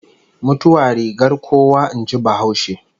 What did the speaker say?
Mutuwa rigar kuwa in ji bahaushe